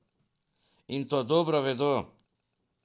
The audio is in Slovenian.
In to dobro vedo.